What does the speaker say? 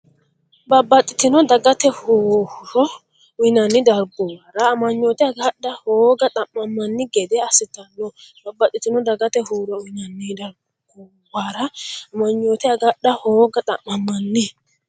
Babbaxxitino dagate horo uyinanni darguwara amanyoote agadha hooga xa’mammanni gede assitanno Babbaxxitino dagate horo uyinanni darguwara amanyoote agadha hooga xa’mammanni.